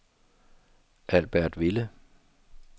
Albertville